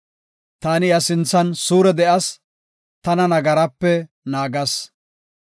Taani iya sinthan suure de7as; tana nagarape naagas.